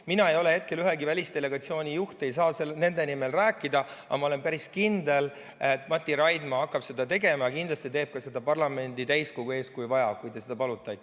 Mina ei ole hetkel ühegi välisdelegatsiooni juht, seega ei saa nende nimel rääkida, aga ma olen päris kindel, et Mati Raidma hakkab seda tegema ja kindlasti teeb seda ka parlamendi täiskogu ees, kui vaja, kui te seda palute.